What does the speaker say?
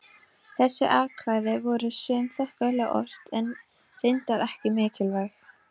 Þessi kvæði voru sum þokkalega ort, en reyndar ekki merkileg.